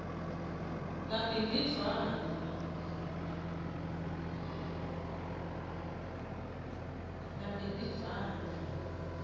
nabhimbidvwane